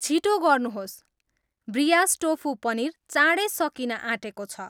छिटो गर्नुहोस्, ब्रियास टोफु पनिर चाँडै सकिन आँटेको छ